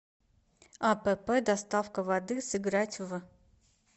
апп доставка воды сыграть в